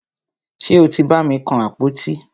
Ṣe o tí bàmi kan àpótí?